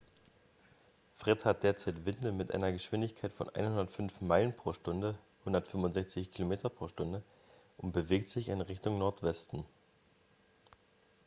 fred hat derzeit winde mit einer geschwindigkeit von 105 meilen pro stunde 165 km/h und bewegt sich in richtung nordwesten